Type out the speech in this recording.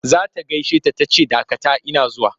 Za ta gaishe ta ta ce dakata ina zuwa!